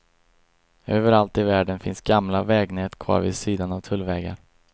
Överallt i världen finns gamla vägnät kvar vid sidan av tullvägar.